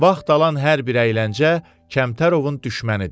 Vaxt alan hər bir əyləncə Kəmtərovun düşmənidir.